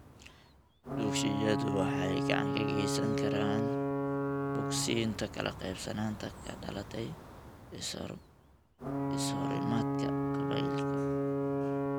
Dugsiyadu waxay gacan ka geysan karaan bogsiinta kala qaybsanaanta ka dhalatay iskahorimaadka qabiilka.